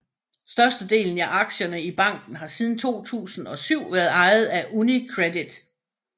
Størstedelen af aktierne i banken har siden 2007 været ejet af UniCredit